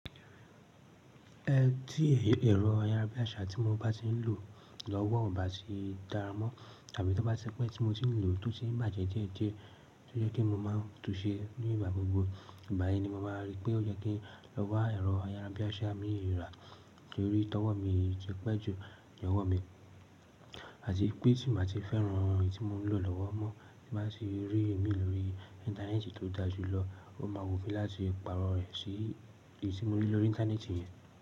Ẹ tí ẹ̀rọ ayárabíàṣá tí mo bá ti ń lò lọ́wọ́ ò bá ti dára mọ́ tàbí tó bá ti pẹ́ tí mo ti ń lò ó tún ti ń bàjẹ́ déédéé, tó jẹ́ kí mo máa tún ṣe ní ìgbà gbogbo. Ìgba yẹn ni mo máa rí pé ó yẹ kí n lọ wa ẹ̀rọ ayárabíàṣá míì ra torí tọwọ́ mi yii ti pẹ́ jù ni ọwọ́ mi àti pé tí mo bá ti fẹ́ran eyi tí mò ń lò lọ́wọ́ mọ́ tí bá tì rí ìmí lórí Íńtánẹ́ẹ̀tì tó da jù lọ, ó máa wù mí láti pàrọ̀ rẹ̀ sí èyí tí mo rí lórí Íńtánẹ́ẹ̀tì yẹn.